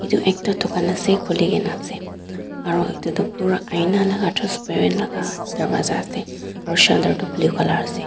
etu ekta dukan ase khuligena ase aru etutu pura aina laga transparent laga darwaja ase aru shutter tu blue color ase.